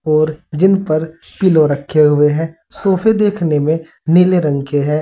और जिनपर पिलो रखे हुए है सोफे देखने में नीले रंग के है।